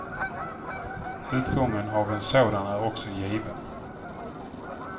Utgången av en sådan är också given.